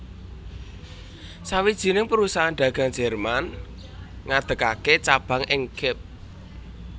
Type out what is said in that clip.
Sawijining perusahaan dagang Jerman ngadegaké cabang ing Kep